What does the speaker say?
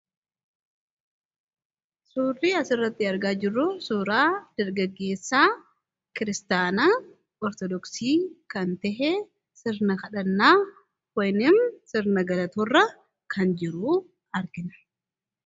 Suurri asirratti argaa jirru kun suuraa dargaggeessa kiristaanaa Orthodooksii kan ta’e sirna kadhannaa yookiin sirna galatoo irra kan jiru argina.